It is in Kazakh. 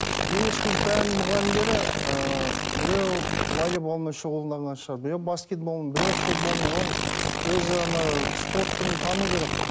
дене шынықтыру пәнінің мұғалімдері ыыы біреу волейболмен шұғылданған шығар біреу баскетбол біреу футболмен оның өзі ана спорт түрін тану керек қой